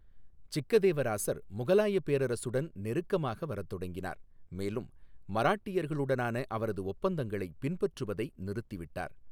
சிக்கதேவராசர் முகலாயப் பேரரசுடன் நெருக்கமாக வரத் தொடங்கினார், மேலும் மராட்டியர்களுடனான அவரது ஒப்பந்தங்களைப் பின்பற்றுவதை நிறுத்திவிட்டார்.